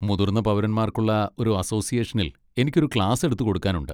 മുതിർന്ന പൗരന്മാർക്കുള്ള ഒരു അസോസിയേഷനിൽ എനിക്ക് ഒരു ക്ലാസെടുത്ത് കൊടുക്കാനുണ്ട്.